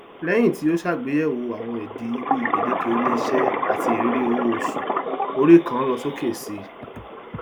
lẹyìn tí ó ṣàgbéyèwò àwọn ìdí bíi gbèdéke iléiṣẹ àti irírí owóoṣù orí kan lọsókè síi